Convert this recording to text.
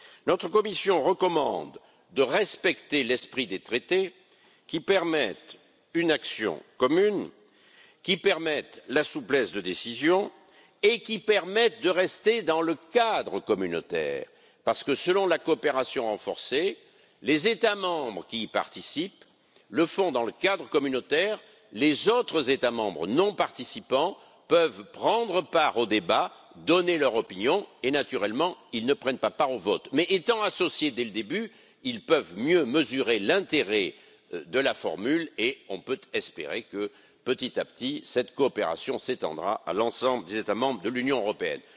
Notre commission recommande de respecter l'esprit des traités, qui permettent une action commune, qui permettent la souplesse de décision et qui permettent de rester dans le cadre communautaire. Parce que selon la coopération renforcée, les États membres qui y participent le font dans le cadre communautaire, tandis que les autres États membres non participants peuvent prendre part au débat, donner leur opinion et naturellement ils ne prennent pas part au vote. Mais étant associés dès le début, ils peuvent mieux mesurer l'intérêt de la formule et on peut espérer que, petit à petit, cette coopération s'étendra à l'ensemble des États membres de l'Union européenne.